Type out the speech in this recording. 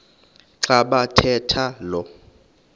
xa bathetha lo